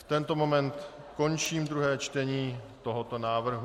V tento moment končím druhé čtení tohoto návrhu.